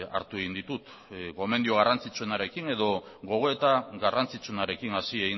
hartu egin ditut gomendio garrantzitsuenarekin edo gogoeta garrantzitsuenarekin hasi